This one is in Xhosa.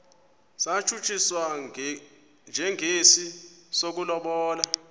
satshutshiswa njengesi sokulobola